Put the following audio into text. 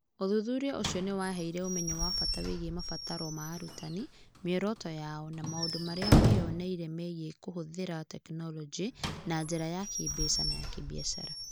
Ũthuthuria ũcio nĩ waheire ũmenyo wa bata wĩgiĩ mabataro ma arutani, mĩoroto yao, na maũndũ marĩa meyoneire megiĩ kũhũthĩra tekinolonjĩ na njĩra ya kĩĩmbeca na ya kĩbiacara.